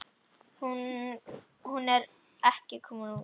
Hún er ekki komin út.